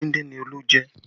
Ẹran dindin ni Olú jẹ